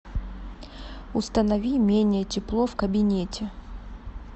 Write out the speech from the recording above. установи менее тепло в кабинете